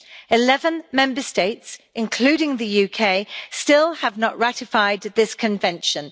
Eleven Member States, including the UK, still have not ratified this Convention.